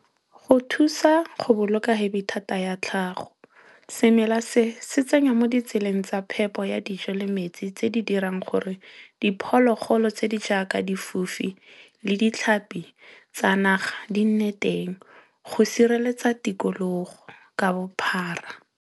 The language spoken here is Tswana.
Go thusa go boloka hebithata ya tlhago. Semela se, se tsenya mo ditseleng tsa phepo ya dijo le metsi tse di dirang gore diphologolo tse di jaaka difofi le ditlhapi tsa naga di nne teng. Go sireletsa tikologo ka bophara.